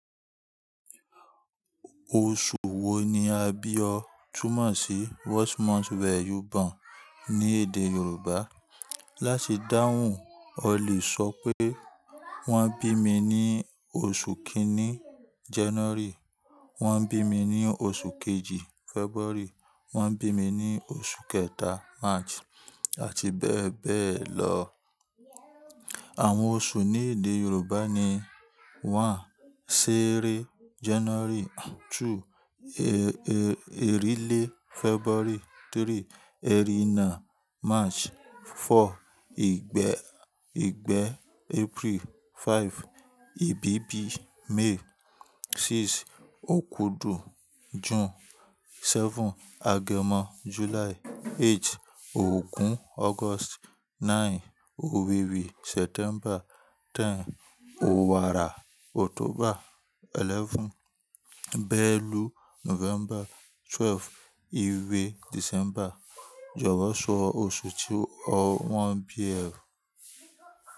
Oṣù wo ni a bí ọ? Túmọ̀ sí what month were you born ní èdè Yorùbá. Láti dáhùn, o lè sọ pé wọ́n bí mi ní oṣù kíní January, wọ́n bí mi ní oṣù kejì February, wọ́n bí mi ní oṣù kẹta March àti bẹ́ẹ̀ bẹ́ẹ̀ lọ. Àwọn oṣù ní èdè Yorùbá ni: one, ṣẹẹrẹ January, two, erilé February, three, erínà March, four, ìgbẹ́ April, five, ìbíbí May, six, òkudù June, seven, agẹmọ July, eight, ògún August, nine, òwèrè September, ten, òwàrà October, eleven, bẹ́ẹ̀lù November, twelve, ìwé December. Jọ̀wọ́ sọ oṣù tí wọ́n bí ẹ.